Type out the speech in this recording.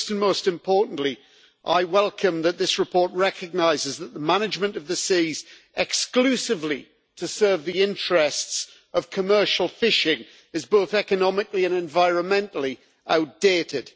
First and most importantly, I welcome that this report recognises that the management of the seas exclusively to serve the interests of commercial fishing is both economically and environmentally outdated.